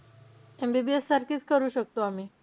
MBBS सारखीच करू शकतो आम्ही.